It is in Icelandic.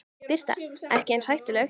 Birta: Ekki eins hættuleg?